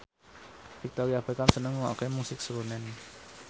Victoria Beckham seneng ngrungokne musik srunen